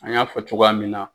An y'a fɔ cogoya min na.